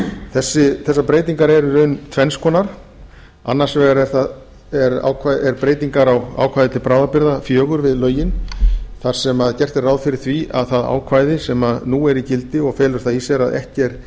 breytingum þessar breytingar eru í raun tvenns konar annars vegar eru breytingar á ákvæði til bráðabirgða fjögur við lögin þar sem gert er ráð fyrir því að ákvæði sem nú er í gildi og felur það í sér að ekki er